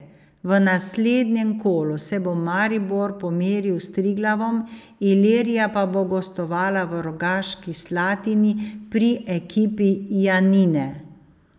V naslednjem kolu se bo Maribor pomeril s Triglavom, Ilirija pa bo gostovala v Rogaški Slatini pri ekipi Janine.